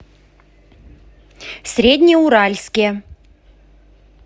среднеуральске